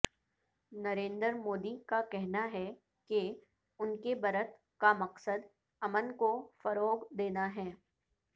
نریندر مودی کا کہنا ہے کہ انکے برت کا مقصد امن کو فروغ دینا ہے